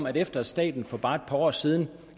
at efter at staten for bare et par år siden